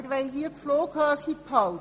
Wir wollen hier die Flughöhe halten.